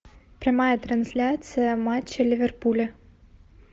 прямая трансляция матча ливерпуля